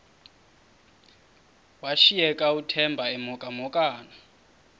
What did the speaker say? washiyeka uthemba emhokamhokana